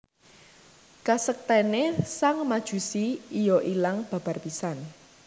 Kasaktèné sang Majusi iya ilang babar pisan